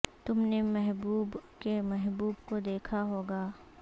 تم نے محبوب کے محبوب کو دیکھا ہو گا